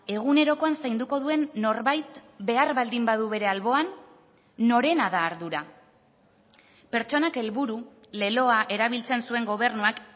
egunerokoan zainduko duen norbait behar baldin badu bere alboan norena da ardura pertsonak helburu leloa erabiltzen zuen gobernuak